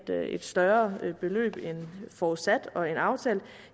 have et større beløb end forudsat og end aftalt